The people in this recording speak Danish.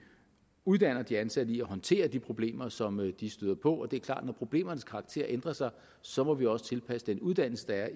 uddanner de ansatte i at håndtere de problemer som de støder på det er klart at når problemernes karakter ændrer sig så må vi også tilpasse den uddannelse der